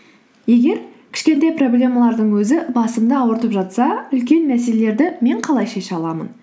егер кішкентай проблемалардың өзі басымды ауыртып жатса үлкен мәселелерді мен қалай шеше аламын